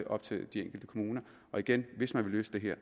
op til de enkelte kommuner igen hvis man vil løse det her